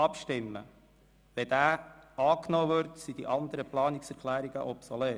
Wird diese angenommen, sind die anderen Planungserklärungen obsolet.